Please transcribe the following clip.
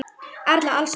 Erla: Alls ekki?